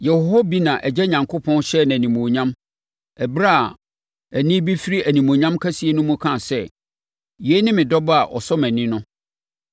Yɛwɔ hɔ bi na Agya Onyankopɔn hyɛɛ no animuonyam ɛberɛ a nne bi firi Animuonyam kɛseɛ mu kaa sɛ, “Yei ne me Dɔba a ɔsɔ mʼani!” no.